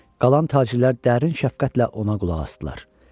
Qalan tacirlər dərin şəfqətlə ona qulaq asdılar.